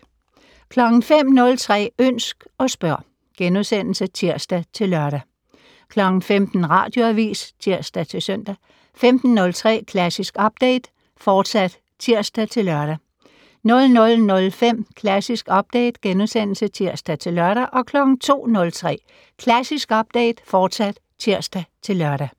05:03: Ønsk og spørg *(tir-lør) 15:00: Radioavis (tir-søn) 15:03: Klassisk Update, fortsat (tir-lør) 00:05: Klassisk Update *(tir-lør) 02:03: Klassisk Update, fortsat (tir-lør)